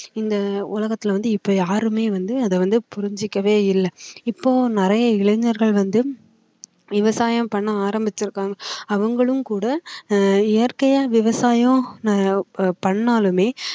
இந்த உலகத்தில வந்து இப்போ யாருமே வந்து அதை வந்து புரிஞ்சுக்கவே இல்ல இப்போ நிறைய இளைஞர்கள் வந்து விவசாயம் பண்ண ஆரம்பிச்சிருக்காங்க அவங்களும் கூட அஹ் இயற்கையா விவசாயம் அஹ் ப~பண்ணாலுமே